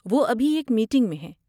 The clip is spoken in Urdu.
وہ ابھی ایک میٹنگ میں ہیں۔